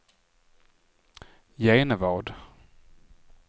Genevad